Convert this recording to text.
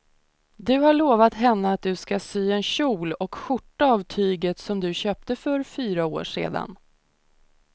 Du har lovat henne att du ska sy en kjol och skjorta av tyget du köpte för fyra år sedan.